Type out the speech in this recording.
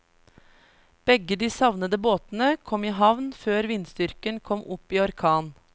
Begge de savnede båtene kom i havn før vindstyrken kom opp i orkan.